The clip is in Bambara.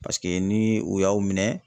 Paseke ni u y'a minɛ